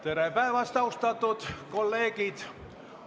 Tere päevast, austatud kolleegid!